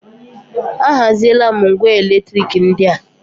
A haziela m ngwá elektrik ndị a.